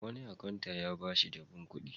Wani akanta ya ba shi jabun kuɗi.